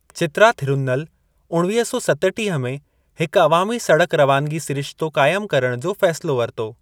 चित्रा थिरुन्नल उणवीह सौ सतटीह में हिकु अवामी सड़क रवानगी सिरिश्तो क़ाइमु करणु जो फ़ैसिलो वरितो।